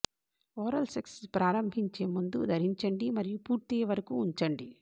oral sex ప్రారంభించే ముందు ధరించండి మరియు పూర్తయ్యే వరకు ఉంచండి